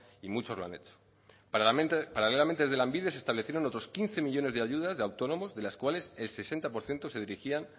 y muchos lo han hecho paralelamente desde lanbide se establecieron otros quince millónes de ayudas de autónomos de las cuales el sesenta por ciento se dirigían